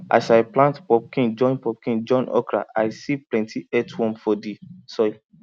as i plant pumpkin join pumpkin join okra i see plenty earthworm for the soil